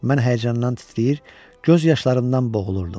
Mən həyəcandan titrəyir, göz yaşlarımdan boğulurdum.